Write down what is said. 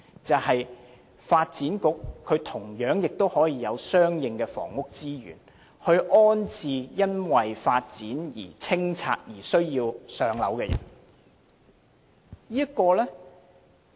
便是發展局同樣可以有相應的房屋資源，以安置因發展而被清拆房屋的居民。